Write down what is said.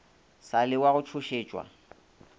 sa le wa go tšhošetšwa